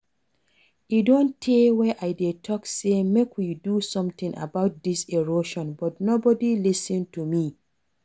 E don tey wey I dey talk say make we do something about dis erosion but nobody lis ten to me